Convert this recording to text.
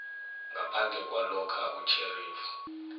ngaphandle kwalokha utjherifu